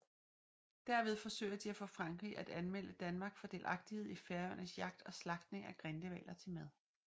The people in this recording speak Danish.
Derved forsøger de at få Frankrig at anmelde Danmark for delagtighed i Færøernes jagt og slagtning af grindehvaler til mad